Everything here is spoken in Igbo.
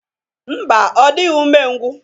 Ḿbà, Ọ dịghị ume ngwu.